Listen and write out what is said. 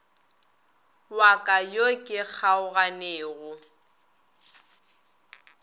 wa ka yo ke kgaoganego